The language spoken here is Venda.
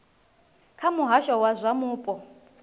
kha muhasho wa zwa mupo